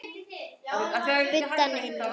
Budda: Nei, nei.